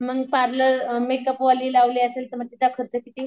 मग parlour, makeup वाली लावली असेल तर मग तिचा खर्च किती?